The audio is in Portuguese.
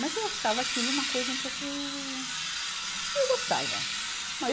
Mas eu achava aquilo uma coisa um pouco Eu gostava.